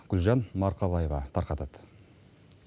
гүлжан марқабаева тарқатады